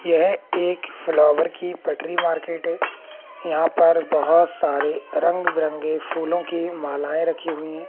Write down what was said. यह एक फ्लावर की पटरी मार्केट है यहां पर बहुत सारे तरंग बिरंगे फूलों की मालाएं रखी हुई हैं।